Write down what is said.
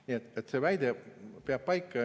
Nii et see väide peab paika.